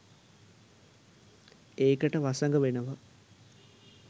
ඒකට වසඟ වෙනවා.